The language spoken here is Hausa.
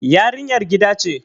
yarinyar gida ce